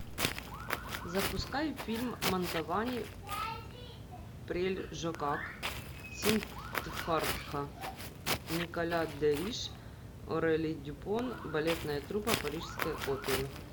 запускай фильм мантовани прельжокак сиддхартха николя де риш орели дюпон балетная труппа парижской оперы